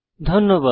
ধন্যবাদ